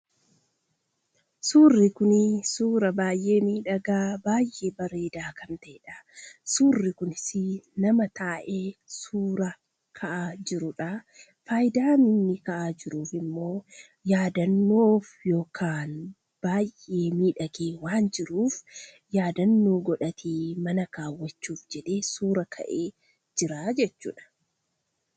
Suurri kun suuraa baay'ee miidhagaa, baay'ee bareedaa kan ta'edha. Suurri kunis nama taa'ee suuraa ka'aa jirudha. Fayidaan inni taa'aa jiruuf immoo yaadannoodhaaf baay'ee miidhagee waan jiruuf yaadannoo godhatee mana kaawwachuutiif jedhee suura ka'ee jira jechuudha.